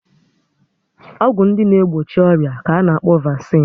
Ọgwụ ndị na egbochi ọrịa ka ana-akpọ vasine